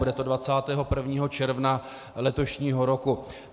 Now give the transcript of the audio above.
Bude to 21. června letošního roku.